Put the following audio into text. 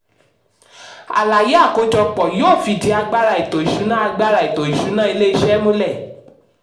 àlàyé àkójọpọ̀ yóò fìdí agbára ètò ìsúná agbára ètò ìsúná ilé-ìṣẹ́ múlẹ̀.